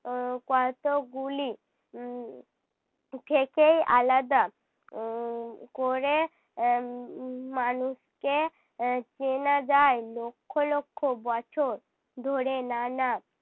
আহ কতগুলি উহ থেকেই আলাদা উহ করে আহ উম মানুষকে আহ চেনা যায়। লক্ষ লক্ষ বছর ধরে নানা